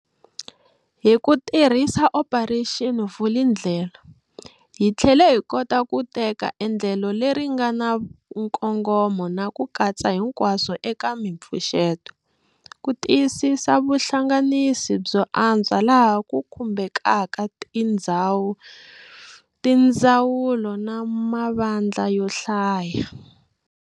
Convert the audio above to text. Hi ku tirhisa Operation Vulindlela, hi tlhele hi kota ku teka endlelo leri nga na nkongomo na ku katsa hinkwaswo eka mipfuxeto, ku tiyisisa vuhlanganisi byo antswa laha ku khumbekaka tindzawulo na mavandla yo hlaya.